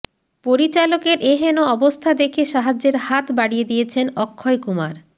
পরিচালকের এহেন অবস্থা দেখে সাহায্যের হাত বাড়িয়ে দিয়েছেন অক্ষয় কুমার